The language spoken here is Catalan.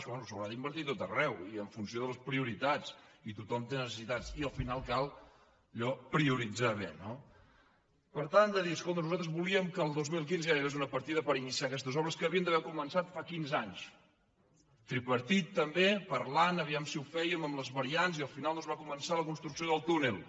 bé s’haurà d’invertir a tot arreu i en funció de les prioritats i tothom té necessitats i al final cal allò prioritzar bé no per tant de dir escolta nosaltres volíem que el dos mil quinze ja hi hagués una partida per iniciar aquestes obres que havien d’haver començat fa quinze anys tripartit també parlant a veure si ho fèiem amb les variants i al final no es va començar la construcció del túnel